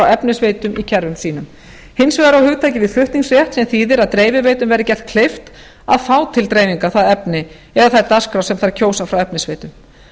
efnisveitum í kerfum sínum hins vegar á hugtakið við flutningsrétt sem þýðir að dreifiveitum verði gert kleift að fá til dreifingar það efni eða þær dagskrár sem þær kjósa frá efnisveitum